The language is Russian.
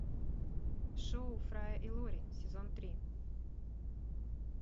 шоу фрая и лори сезон три